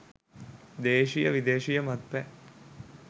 දේශීය විදේශීය මත්පැන්